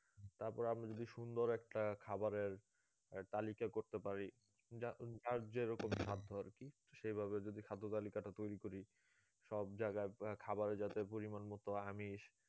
তারপরে আমরা যদি সুন্দর একটা খাবারের একটা তালিকা করতে পারি যা যার যেরকম খাদ্য আর কি তো সেই ভাবে যদি খাদ্য তালিকাটা তৈরী করি সব জায়গায় খাবার যাতে পরিমান মতো আমিষ